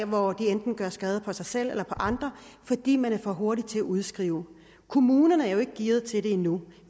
hvor de enten gør skade på sig selv eller andre fordi man er for hurtig til at udskrive kommunerne er jo ikke gearet til det endnu